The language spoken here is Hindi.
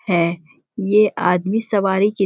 है ये आदमी सवारी के--